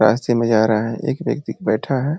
रास्ते में जा रहा है एक व्यक्ति बैठा है।